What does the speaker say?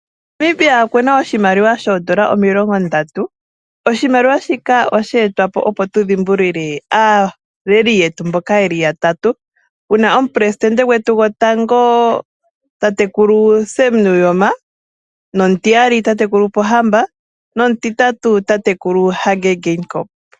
Namibia okuna oshimaliwa shoondola 30. Oshimaliwa shika osheetwapo opo tu dhimbulukwe aaleli yetu mboka yeli yatatu puna omupresitende gwetu gotango tatekulu Sam Nuujoma, nomu tiyali tatekulu Pohamba nomu titatu tatekulu Hage Geingob.